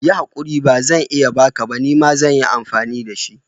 Yi haƙuri, bazan iya baka ba, nima zan yi amfani da shi.